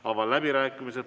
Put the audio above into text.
Avan läbirääkimised.